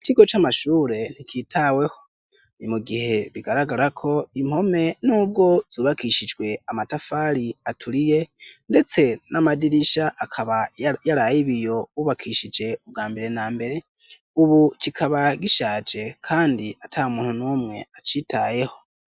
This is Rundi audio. Ikigo c'amashure nticitaweho. Ni mu gihe bigaragara ko impome n'ubwo zubakishijwe amatafari aturiye ndetse n'amadirisha akaba yari ay'ibiyo bubakishije ubwa mbere na mbere, ubu kikaba gishaje kandi ata muntu n'umwe acitayeho.